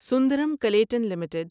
Sundaram Clayton limited